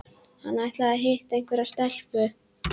Hann ætlar að hitta einhverja stelpu